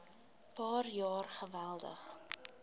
paar jaar geweldig